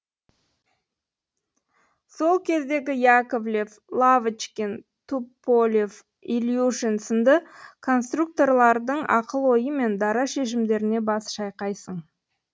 сол кездегі яковлев лавочкин туполев ильюшин сынды конструкторлардың ақыл ойы мен дара шешімдеріне бас шайқайсың